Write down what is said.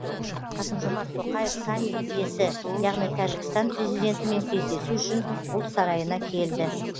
қасым жомарт тоқаев саммит иесі яғни тәжікстан президентімен кездесу үшін ұлт сарайына келді